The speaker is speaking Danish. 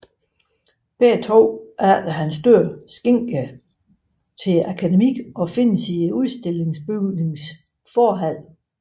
Begge er efter hans død skænket Akademiet og findes i udstillingsbygningens forhal